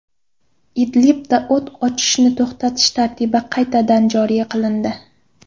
Idlibda o‘t ochishni to‘xtatish tartibi qaytadan joriy qilindi.